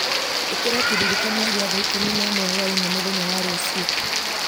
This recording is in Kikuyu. ĩkĩra kĩririkania gĩa thaa ikũmi na ĩmwe hwaĩ-inĩ mũthenya wa rũciũ